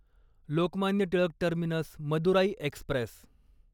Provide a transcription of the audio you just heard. Lokmanya Tilak terminus Madurai Express